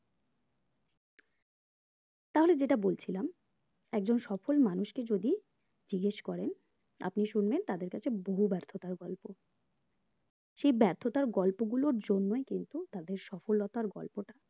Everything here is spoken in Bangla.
তাহলে যেটা বলছিলাম একজন সফল মানুষকে যদি জিজ্ঞেস করেন আপনি শুনলেন তাদের কাছে দূরে ব্যার্থতার গল্প সেই ব্যার্থতার গল্পগুলোর জন্যই কিন্তু তাদের সফলতার গল্পটা